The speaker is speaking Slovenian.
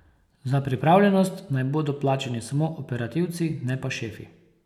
Za pripravljenost naj bodo plačani samo operativci, ne pa šefi.